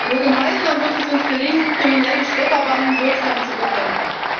Nur gemeinsam wird es uns gelingen, kriminelle Schlepperbanden wirksam zu bekämpfen.